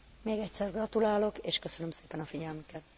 Még egyszer gratulálok, és köszönöm szépen a figyelmüket.